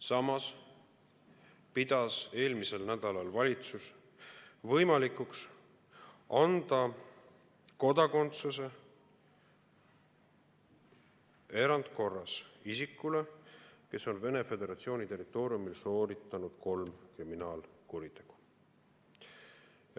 Samas pidas eelmisel nädalal valitsus võimalikuks anda kodakondsuse erandkorras isikule, kes on Venemaa Föderatsiooni territooriumil sooritanud kolm kriminaalkuritegu.